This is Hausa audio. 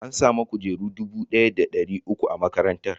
An sami kujeru dubu ɗaya da ɗari uku a makarantar.